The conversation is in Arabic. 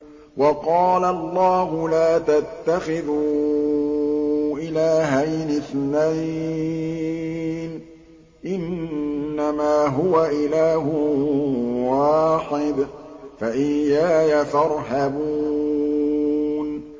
۞ وَقَالَ اللَّهُ لَا تَتَّخِذُوا إِلَٰهَيْنِ اثْنَيْنِ ۖ إِنَّمَا هُوَ إِلَٰهٌ وَاحِدٌ ۖ فَإِيَّايَ فَارْهَبُونِ